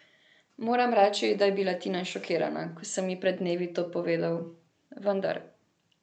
Moram reči, da je bila Tina šokirana, ko sem ji pred dnevi to povedal, vendar ...